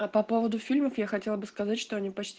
а по поводу фильмов я хотел бы сказать что они почти